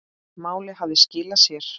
Málið hafði skilað sér.